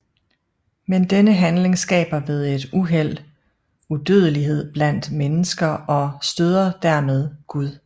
Men denne handling skaber ved et uheld udodelighed blandt mennesker og stoder dermed Gud